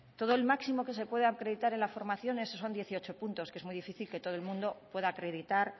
todo el máximo que se puede acreditar en la formación eso son dieciocho puntos que es muy difícil que todo el mundo pueda acreditar